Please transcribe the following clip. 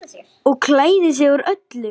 Og klæðir sig úr öllu!